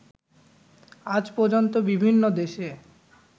আজ পর্যন্ত বিভিন্ন দেশে